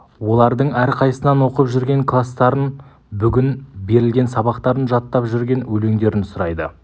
олардың әрқайсысынан оқып жүрген кластарын бүгін берілген сабақтарын жаттап жүрген өлеңдерін сұрайды